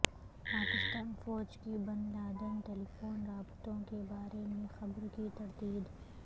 پاکستان فوج کی Bin Laden telephone رابطوں کےبارے میں خبر کی تردید